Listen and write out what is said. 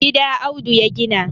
gida Audu ya gina